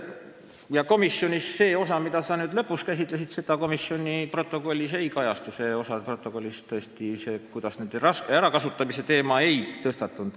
Ja komisjoni protokollis see osa, mida sa lõpus käsitlesid, ei kajastu – nende ärakasutamise teema komisjonis ei tõstatunud.